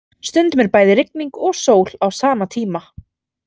Stundum er bæði rigning og sól á sama tíma.